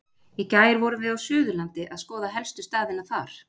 Í gær vorum við á Suðurlandi að skoða helstu staðina þar.